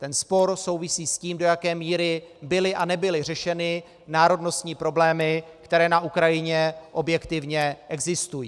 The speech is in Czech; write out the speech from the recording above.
Ten spor souvisí s tím, do jaké míry byly a nebyly řešeny národnostní problémy, které na Ukrajině objektivně existují.